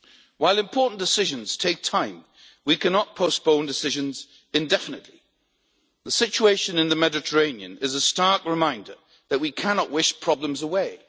While important decisions take time, we cannot postpone decisions indefinitely. The situation in the Mediterranean is a stark reminder that we cannot wish problems away.